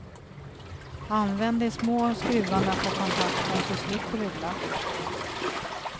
Använd de små skruvarna på kontakten så slipper du glapp.